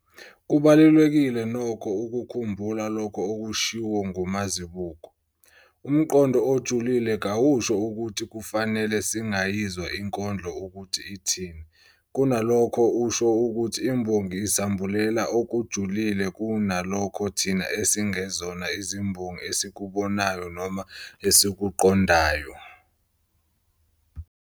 Kubalulekile nokho ukukhumbula lokho okushiwo nguMazibuko, 2018-95,- "Umqondo ojulile kawusho ukuthi kufanele singayizwa inkondlo ukuthi ithini, kunalokho usho ukuthi imbongi isambulela okujulile kunalokho thina esingezona izimbongi esikubonayo noma esikuqondayo.